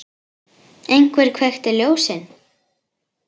Einhver kveikti ljósin.